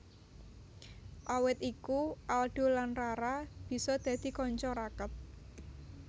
Awit iku Aldo lan Rara bisa dadi kanca raket